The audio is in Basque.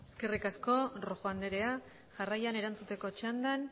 eskerrik asko rojo andrea jarraian erantzuteko txandan